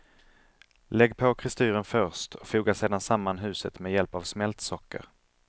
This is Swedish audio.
Lägg på kristyren först, och foga sedan samman huset med hjälp av smält socker.